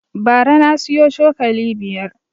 Bara na siyo cokali biyar